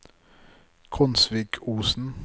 Konsvikosen